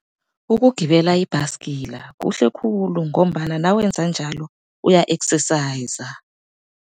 Ukugibela ibhasikila kuhle khulu, ngombana nawenza njalo uya-exerciser.